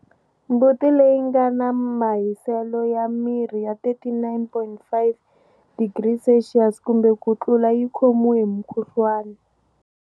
Mbuti leyi nga na mahiselo ya miri ya 39.5 degrees Celsius kumbe ku tlula yi khomiwe hi mukhuhluwana.